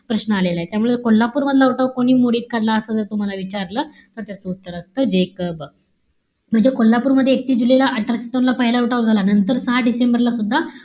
प्रश्न आलेलाय. त्यामुळे कोल्हापूर मधला उठाव कोणी मोडीत काढला? असं जर तुम्हाला विचारलं, तर त्याच उत्तर असत जेकब. म्हणजे कोल्हापूरमध्ये एकतीस जुलै ला अठराशे सत्तावन्न ला पहिला उठाव झाला. नंतर सहा डिसेंबर ला सुद्धा,